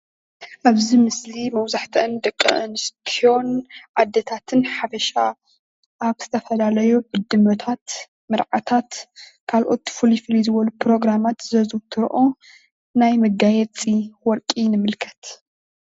ኣብዚ ምስሊ መብዛሕትአን ደቂ ኣንስትዮን ኣዴታትን ሓበሻ ኣብ ዝተፈላለዩ ዕድመታትን መርዓታት ካልኦት ፍልይ ፍልይ ዝበሉ ፕሮግራማት ዘዝውትርኦ ናይ መጋየፂ ወርቂ ንምልከት።